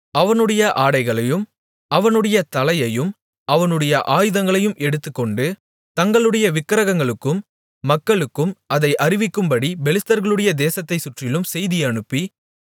அவனுடைய ஆடைகளையும் அவனுடைய தலையையும் அவனுடைய ஆயுதங்களையும் எடுத்துக்கொண்டு தங்களுடைய விக்கிரகங்களுக்கும் மக்களுக்கும் அதை அறிவிக்கும்படி பெலிஸ்தர்களுடைய தேசத்தைச்சுற்றிலும் செய்தி அனுப்பி